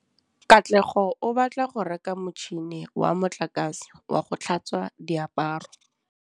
Katlego o batla go reka motšhine wa motlakase wa go tlhatswa diaparo.